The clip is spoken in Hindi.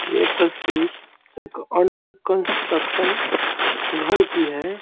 यह तस्वीर एक अंडर कंस्ट्रक्शन घर की है।